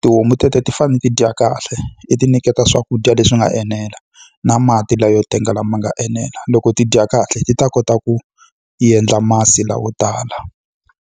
Tihomu teto ti fanele ti dya kahle, i ti nyiketa swakudya leswi nga enela, na mati layo tenga lama nga enela. Loko ti dya kahle ti ta kota ku endla masi layo tala.